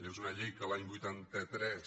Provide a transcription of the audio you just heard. és una llei que l’any vuitanta tres